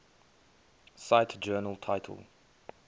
cite journal title